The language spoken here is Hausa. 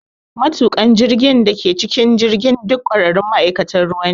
Matuƙan jirgin da ke cikin jirgin duk ƙwararrun ma’aikatan ruwa ne.